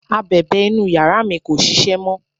abẹ̀bẹ̀ inú yàrá mi kò ṣiṣẹ́ mọ